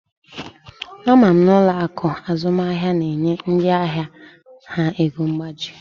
Ama m na ụlọ akụ azụmaahịa na-enye ndị ahịa ha ego mgbazinye